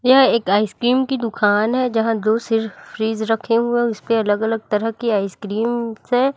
यह एक आइसक्रीम की दुकान है जहां फ्रिज रखे हुए हैं उसपे अलग अलग तरह की आइसक्रीम्स है।